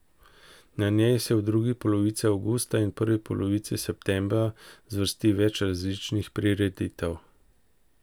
Na njej se v drugi polovici avgusta in prvi polovici septembra zvrsti več različnih prireditev.